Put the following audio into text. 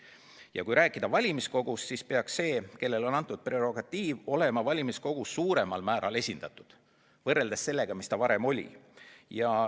Ja kui rääkida valimiskogust, siis peaks see, kellele on antud prerogatiiv, olema valimiskogus suuremal määral esindatud, kui ta varem on olnud.